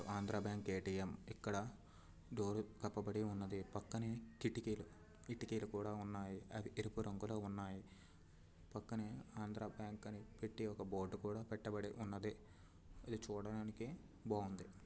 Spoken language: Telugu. Andhra bank ATM. ఇక్కడ డోరు కప్పబడి వున్నది. పక్కనే కిటికీలు కిటికీలు కూడా ఉన్నాయి. అవి ఎరుపు రంగులో ఉన్నాయి. పక్కనే ఆంధ్రాబ్యాంక్ అని పెట్టి ఒక బోర్డు కూడా పెట్టబడి ఉన్నది. ఇదే చూడడానికి బాగుంది.